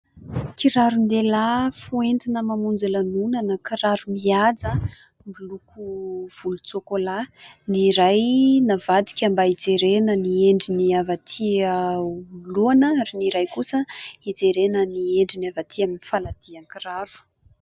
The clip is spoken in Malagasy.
Kiraron-dehilahy ho entina mamonjy lanoana. Kiraro mihaja miloko volotsoko-laha, ny iray navadika mba hijerena ny endriny avy aty anoloana, ary ny iray kosa hijerena ny endriny havatỳ amin'ny faladian-kiraro.